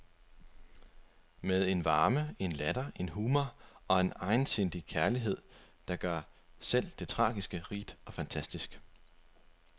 Med en varme, en latter, en humor og en egensindig kærlighed, der gør selv det tragiske rigt og fantastisk.